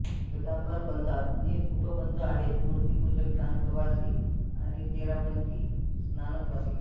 श्वेतांबर पंथात तीन उपपंथ आहेत मूर्तिपूजक स्थानकवासी आणि तेरापंथी स्थानकवासी